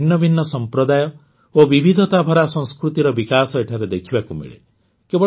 ଭାରତର ଭିନ୍ନଭିନ୍ନ ସମ୍ପ୍ରଦାୟ ଓ ବିବିଧତା ଭରା ସଂସ୍କୃତିର ବିକାଶ ଏଠାରେ ଦେଖିବାକୁ ମିଳେ